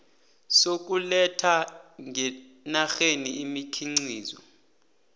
sokuletha ngenarheni imikhiqizo